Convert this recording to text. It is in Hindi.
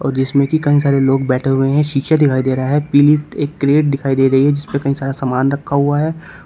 और जिसमें की कई सारे लोग बैठे हुए है शीशे दिखाई दे रहा है पीली एक क्रैट दिखाई दे रही है जिस पे कई सारा सामान रखा हुआ है।